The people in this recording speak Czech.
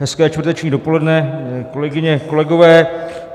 Hezké čtvrteční dopoledne, kolegyně, kolegové.